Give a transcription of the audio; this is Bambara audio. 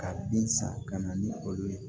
Ka bin san ka na ni olu ye